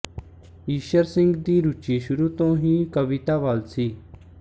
ਈਸ਼ਰ ਸਿੰਘ ਦੀ ਰੁਚੀ ਸ਼ੁਰੂ ਤੋਂ ਹੀ ਕਵਿਤਾ ਵਲ ਸੀ